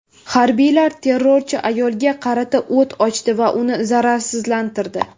Harbiylar terrorchi ayolga qarata o‘t ochdi va uni zararsizlantirdi.